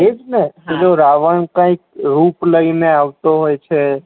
એ જ ને પેલો રાવણ કઈક રૂપ લઇ ને આવે તો હોય છે